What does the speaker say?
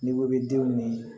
N'i ko k'i bɛ denw ni